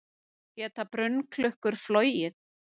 Geta brunnklukkur flogið?